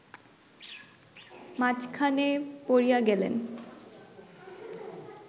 মাঝখানে পড়িয়া গেলেন